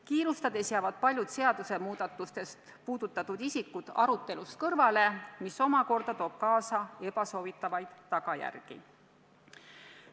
Kiirustades jäävad paljud seadusemuudatustest mõjutatud isikud arutelust kõrvale, mis omakorda toob kaasa soovimatuid tagajärgi.